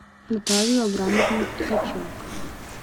наталью абрамовну ткаченко